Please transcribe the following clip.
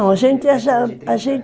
a gente